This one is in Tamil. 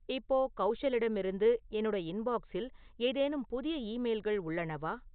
இப்போ கௌஷலிடமிருந்து என்னோட இன்பாக்ஸில் ஏதேனும் புதிய ஈமெயில்கள் உள்ளனவா?